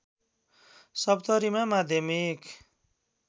सप्तरीमा माध्यमिक